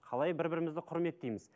қалай бір бірімізді құрметтейміз